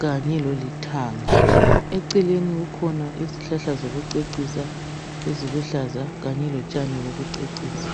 kanye lolithanga. Eceleni kukhona izihlahla zokucecisa eziluhlaza kanye lotshani bokucecisa.